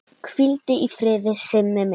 Hvíldu í friði Simmi minn.